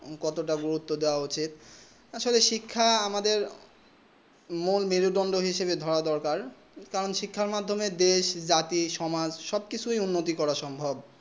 কত তা গুরুত্ব দেব উচিত আসলে শিক্ষা আমাদের মোর মেরে দুঁদে ধরা কারণ শিক্ষা মাধমিয়ে দেশ জাতি সমাজ সবার উন্নতি করা সম্ভব